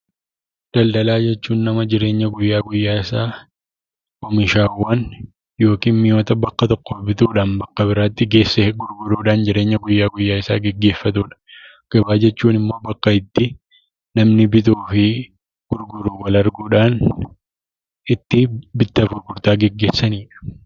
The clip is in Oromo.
Daldaalaa jechuun; nama jireenya guyyaa guyyaa isaa oomishaawwan yookiin mii'oota bakka tokko bituudhaan bakka biraatti geessee gurgurudhaan jireenya guyyaa guyyaa isaa geggeeffatudha. gabbaa jechuun immoo bakka itti namni bituufi gurguru itti Wal arguudhaan itti bittaaf gurgurtaa geggeessanidhaa.